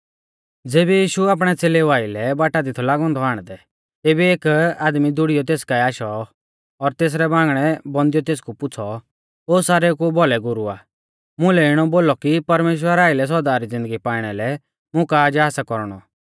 ज़ेबी यीशु आपणै च़ेलेऊ आइलै बाटा दि थौ लागौ औन्दौ आण्डदै तेबी एक आदमी दूड़िऔ तेस काऐ आशौ और तेसरै बांगणै बौंधिऔ तेसकु पुछ़ौ ओ सारेउ कु भौलै गुरु आ मुलै इणौ बोलौ कि परमेश्‍वरा आइलै सौदा री ज़िन्दगी पाइणा लै मुं का जा सा कौरणौ